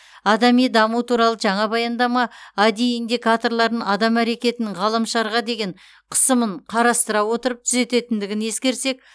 адами даму туралы жаңа баяндама ади индикаторларын адам әрекетінің ғаламшарға деген қысымын қарастыра отырып түзететіндігін ескерсек